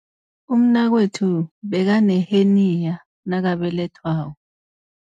Umnakwethu bekaneheniya nakabelethwako.